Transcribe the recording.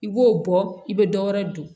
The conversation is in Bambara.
I b'o bɔ i bɛ dɔ wɛrɛ dun